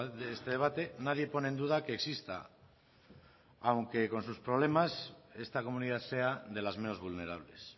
de este debate nadie pone en duda que exista aunque con sus problemas esta comunidad sea de las menos vulnerables